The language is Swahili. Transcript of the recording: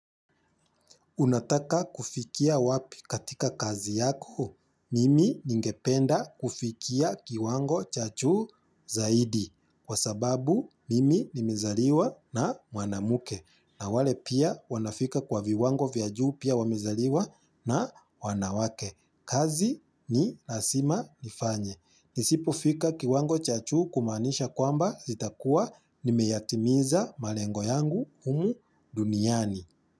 Unataka kufikia wapi katika kazi yako? Mimi ningependa kufikia kiwango cha juu zaidi. Kwa sababu, mimi ni mzaliwa na mwanamke. Na wale pia wanafika kwa viwango vya juu pia wamezaliwa na wanawake. Kazi ni lazima nifanye. Nisipofika kiwango cha juu kumanisha kwamba sitakuwa nimeyatimiza malengo yangu humu duniani.